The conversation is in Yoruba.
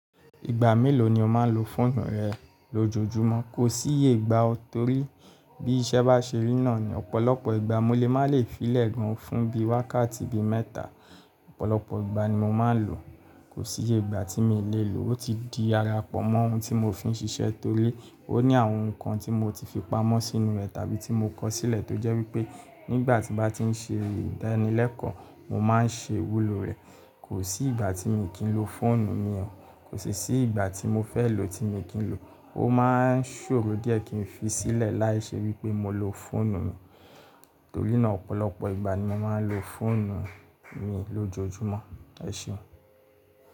Ìgbà mélòó ni o máa ń lo fóònù rẹ lójoojúmọ́? Kò sí ye ìgbà o. Torí bí iṣẹ́ bá ṣe rí náà ni ọ̀pọ̀lọpọ̀ ìgbà mo lè má lè fi lẹ́ gan fún bí i wákàtí bí i mẹ́ta. Ọ̀pọ̀lọpọ̀ ìgbà ni mo máa ń lò ó. Kò sí ye ìgbà tí mi lè lè lo. Ó ti di ara pọ̀ mọ́ ohun tí mo fi ń ṣiṣẹ́ torí ó ní àwọn nǹkan tí mo ti fi pamọ́ sínú rẹ̀ tàbí tí mo kọ sílẹ̀ tó jẹ́ wípé nígbà tí mo bá ti ń ṣe ìdánilẹ́kọ̀ọ́, mo máa ń ṣe wúlò rẹ̀. Kò sí ìgbà tí mi kí ń lo fóònù mi o. Kò sì sí ìgbà tí mo fẹ́ lò tí mi kí ń lò. Ó máa ń ṣòro díẹ̀ kí ń fi sílẹ̀ láì ṣe wípé mo lo fóònù mi. Torí náà ọ̀pọ̀lọpọ̀ ìgbà ni mo máa ń lo fóònù mi lójoojúmọ́. Ẹ ṣeun.